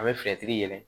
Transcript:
A bɛ yɛlɛ